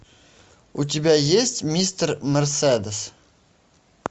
у тебя есть мистер мерседес